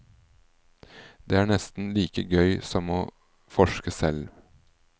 Det er nesten like gøy som å forske selv.